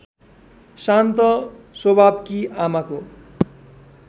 शान्त स्वभावकी आमाको